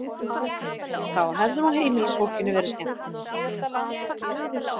Þá hefði nú heimilisfólkinu verið skemmt.